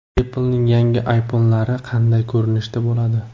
Apple’ning yangi iPhone’lari qanday ko‘rinishda bo‘ladi?.